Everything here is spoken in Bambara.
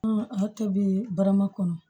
A tobi barama kɔnɔ